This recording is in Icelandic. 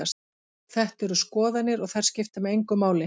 Þetta eru skoðanir og þær skipta mig engu máli.